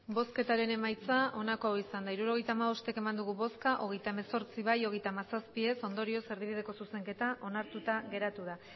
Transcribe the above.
hirurogeita hamabost eman dugu bozka hogeita hemezortzi bai hogeita hamazazpi ez ondorioz erdibideko zuzenketa onartuta geratu da